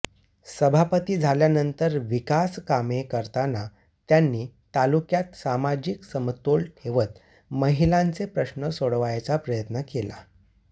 सभापती झाल्यानंतर विकासकामे करताना त्यांनी तालुक्यात सामाजिक समतोल ठेवत महिलांचे प्रश्न सोडवायचा प्रयत्न केला